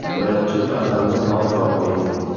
Birinchi qadamni hoziroq qo‘ying!